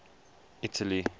italy